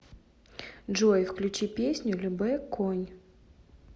джой включи песню любэ конь